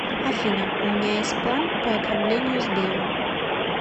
афина у меня есть план по ограблению сбера